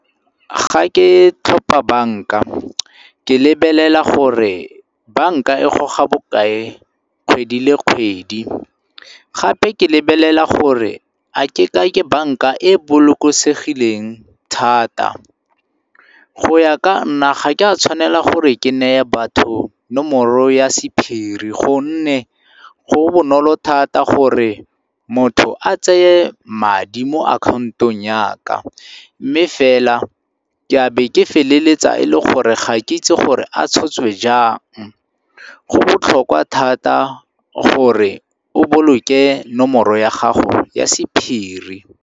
Ga ke tlhopa banka ke lebelela gore banka e goga bokae kgwedi le kgwedi, gape ke lebelela gore a ke ka ke banka e bolokosegileng thata. Go ya ka nna ga ke a tshwanela gore ke neye batho nomoro ya sephiri gonne go bonolo thata gore motho a tseye madi mo akhaontong ya ka mme fela ke a be ke feleletsa e le gore ga ke itse gore a tshotswe jang. Go botlhokwa thata gore o boloke nomoro ya gago ya sephiri.